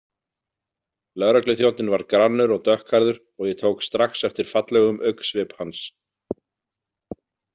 Lögregluþjónninn var grannur og dökkhærður og ég tók strax eftir fallegum augnsvip hans.